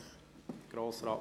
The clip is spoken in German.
Grossrat Moser, bitte.